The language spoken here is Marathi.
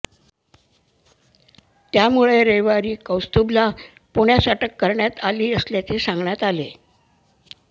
त्यामुळे रविवारी कौस्तुभला पुण्यात अटक करण्यात आली असल्याचे सांगण्यात आले